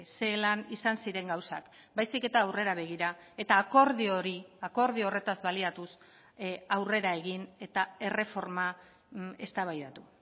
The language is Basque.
zelan izan ziren gauzak baizik eta aurrera begira eta akordio hori akordio horretaz baliatuz aurrera egin eta erreforma eztabaidatu